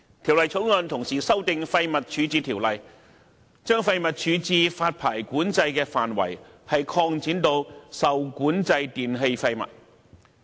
《條例草案》同時修訂《廢物處置條例》，將廢物處置發牌管制的範圍擴展至受管制電器廢物。